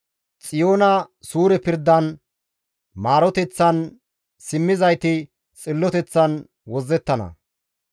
Xiyoona suure pirdan, maaroteththan simmizayti xilloteththan wozzettana.